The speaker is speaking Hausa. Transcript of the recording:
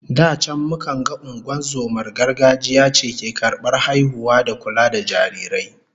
Da can mukan ga ungozomar gargajiya ce ke karbar haihuwa da kula da jarirai